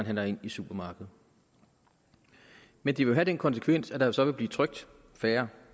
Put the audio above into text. handler ind i supermarkedet men det vil have den konsekvens at der så vil blive trykt færre